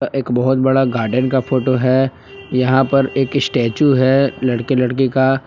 एक बहुत बड़ा गार्डन का फोटो है यहां पर एक स्टेच्यू है लड़के लड़की का।